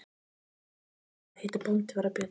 Hafi nokkur átt skilið að heita bóndi var það Björn.